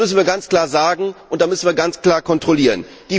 Das müssen wir ganz klar sagen, und da müssen wir ganz klar kontrollieren.